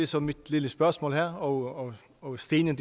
så mit lille spørgsmål her og og stenen